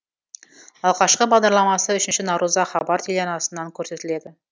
алғашқы бағдарламасы үшінші наурызда хабар телеарнасынан көрсетіледі